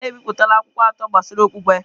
Nna m ebipụtala akwụkwọ atọ gbasara okpukpe.